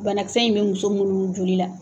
Banakisɛ in bɛ muso minnu joli la,